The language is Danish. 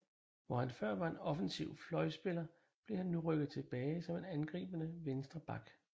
Hvor han før var en offensiv fløjspiller blev han nu rykket tilbage som en angribende venstre back